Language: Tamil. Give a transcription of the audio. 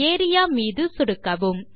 ஏரியா மீது சொடுக்கவும்